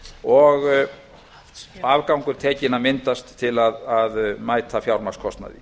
og afgangur tekinn að myndast til að mæta fjármagnskostnaði